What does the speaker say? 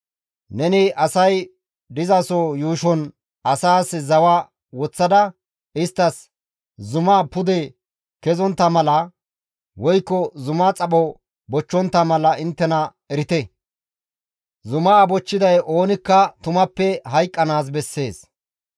Neni asay dizaso yuushon asaas zawa woththada isttas, ‹Zuma bolla pude kezontta mala woykko zumaa xapho bochchontta mala inttena erite. Zuma bochchiday oonikka tumappe hayqqanaas bessees.